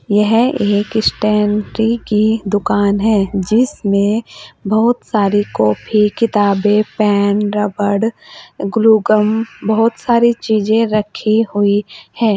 यह एक स्टेशनरी की दुकान है जिसमें बहुत सारी कॉपी किताबे पेन रबर ग्लूकम बहोत सारी चीजें रखी हुई है।